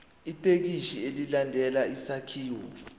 ithekisthi ilandele isakhiwo